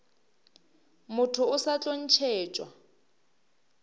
motho o sa tlo ntšhetšwa